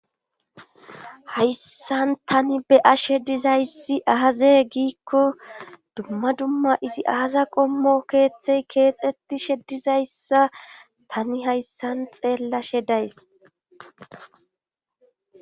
hayssan tani be' ashe dizayssi aaze giikko dumma dumma izi aaza qommo keeththey keexetti she dizayssa tani hayssan xeellashe days